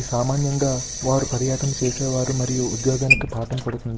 సామాన్యంగా వారు పర్యటన చేసేవారు మరియు ఉద్యోగానికి పాఠం పడు --